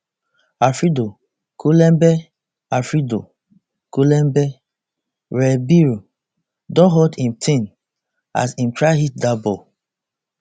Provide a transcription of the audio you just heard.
alfredo kulembe alfredo kulembe ribeiro don hurt im thigh as im try hit dat ball